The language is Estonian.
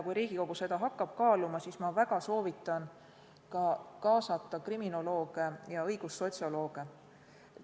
Kui Riigikogu hakkab seda kaaluma, siis ma väga soovitan kaasata kriminolooge ja õigussotsiolooge.